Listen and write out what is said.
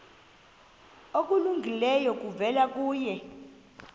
okulungileyo kuvela kuye